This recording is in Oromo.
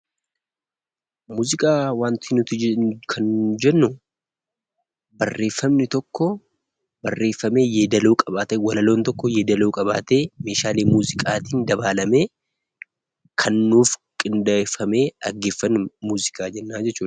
Muuziqaa kan nuti jennuu barreeffamni tokko barreeffamee yeedaloo qabaatee, walaloon tokko yeedaloo qabaatee meeshaalee muuziqaatiin dabaalamee kan nuuf qindeeffamee dhaggeeffannuun muuziqaa jennaa jechuudha.